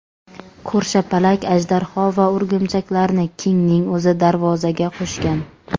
Ko‘rshapalak, ajdarho va o‘rgimchaklarni Kingning o‘zi darvozaga qo‘shgan.